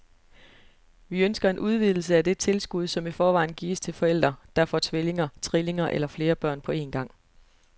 Vi ønsker en udvidelse af det tilskud, som i forvejen gives til forældre, der får tvillinger, trillinger eller flere børn på en gang.